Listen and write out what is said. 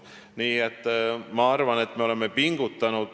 Nii et ma arvan, et me oleme pingutanud.